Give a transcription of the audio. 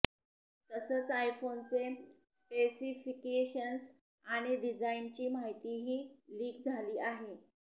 तसंच आयफोनचे स्पेसिफिकेशन्स आणि डिजाइनची माहितीही लीक झाली आहे